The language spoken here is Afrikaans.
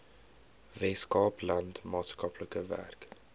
weskaapland maatskaplike werk